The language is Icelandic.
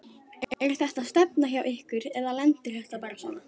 Er þetta stefna hjá ykkur eða lendir þetta bara svona?